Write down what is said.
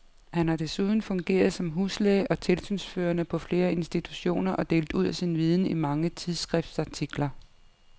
Han har desuden fungeret som huslæge og tilsynsførende på flere institutioner og delt ud af sin viden i mange tidsskriftsartikler.